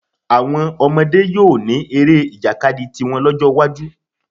Àwọn ọmọdé yóò ní eré ìjàkadì tiwọn lọ́jọ́ iwájú